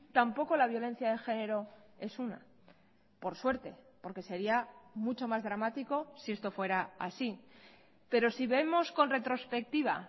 tampoco la violencia de género es una por suerte porque sería mucho más dramático si esto fuera así pero si vemos con retrospectiva